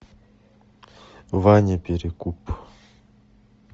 ваня перекуп